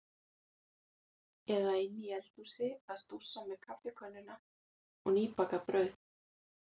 Eða inni í eldhúsi að stússa með kaffikönnuna og nýbakað brauð.